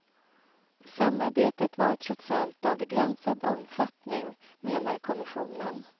Samarbetet var trots allt av begränsad omfattning, menar kommissionen.